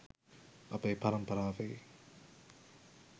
අපේ පරම්පරාවේ